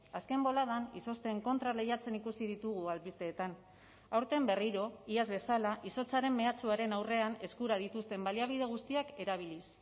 azken boladan izozten kontra lehiatzen ikusi ditugu albisteetan aurten berriro iaz bezala izotzaren mehatxuaren aurrean eskura dituzten baliabide guztiak erabiliz